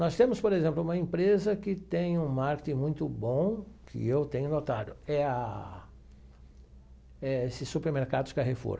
Nós temos, por exemplo, uma empresa que tem um marketing muito bom, que eu tenho notado, é a eh esse supermercados Carrefour.